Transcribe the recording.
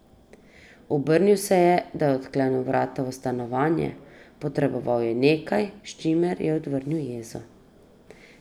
Obrnil se je, da je odklenil vrata v stanovanje, potreboval je nekaj, s čimer je odvrnil jezo.